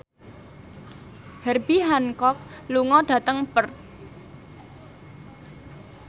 Herbie Hancock lunga dhateng Perth